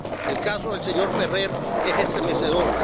El caso del señor Ferrer es estremecedor.